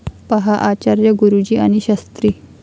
पहा आचार्य गुरुजी आणि शास्त्री